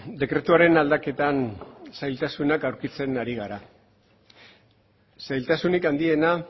dekretuaren aldaketan zailtasunak aurkitzen ari gara zailtasunik handiena